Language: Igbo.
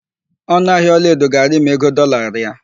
Ọnụahịa ọlaedo ga-arị ma ego dọọla rịa.